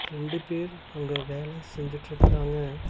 ரெண்டு பேர் அவுங்க வேல செஞ்சுட்ருக்றாங்க.